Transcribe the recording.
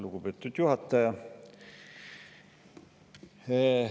Lugupeetud juhataja!